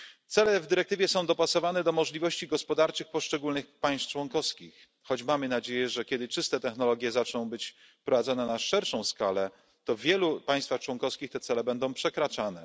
Cele w dyrektywie są dopasowane do możliwości gospodarczych poszczególnych państw członkowskich, choć mamy nadzieję, że kiedy czyste technologie zaczną być wprowadzane na szerszą skalę, to w wielu państwach członkowskich te cele będą przekraczane.